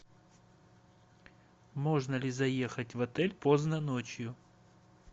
можно ли заехать в отель поздно ночью